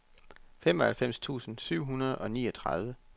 femoghalvfems tusind syv hundrede og niogtredive